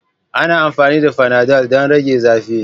Ana amfani da fanadol don rage zafi.